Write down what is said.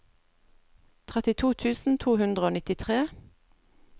trettito tusen to hundre og nittitre